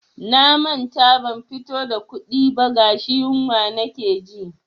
Na manta ban fito da kuɗi ba gashi yunwa nake ji.